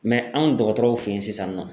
anw dɔgɔtɔrɔw fe yen sisan nɔ.